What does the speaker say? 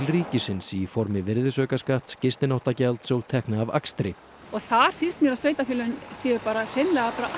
ríkisins í formi virðisaukaskatts gistináttagjalds og tekna af akstri og þar finnst mér að sveitarfélögin séu hreinlega bara